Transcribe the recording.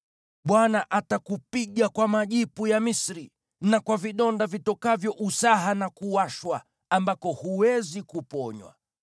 Bwana atakupiga kwa majipu ya Misri na kwa vidonda vitokavyo usaha na kuwashwa, ambako huwezi kuponywa.